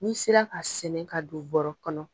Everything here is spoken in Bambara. Ni sera ka sɛnɛ ka don bɔrɔ kɔnɔ.